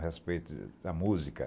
A respeito da música.